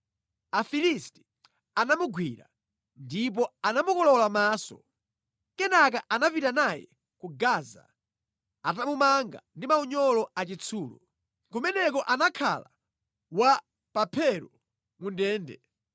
Afilisti anamugwira ndipo anamukolowola maso. Kenaka anapita naye ku Gaza atamumanga ndi maunyolo achitsulo. Kumeneko anakhala wa pamphero mu ndende.